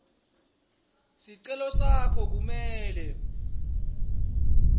sicelo sakho kumele